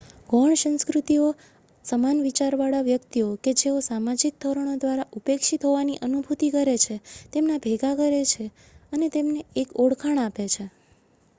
ગૌણ સંસ્કૃતિઓ સમાન વિચારવાળા વ્યક્તિઓ કે જેઓ સામાજિક ધોરણો દ્વારા ઉપેક્ષિત હોવાની અનુભૂતિ કરે છે તેમને ભેગા કરે છે અને તેમને એક ઓળખાણ આપે છે